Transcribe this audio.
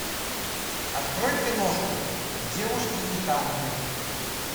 открой киношку девушки и танки